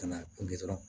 Ka n'a kunge dɔrɔn